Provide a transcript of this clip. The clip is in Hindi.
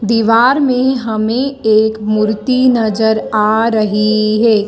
दीवार में हमें एक मूर्ति नजर आ रही है।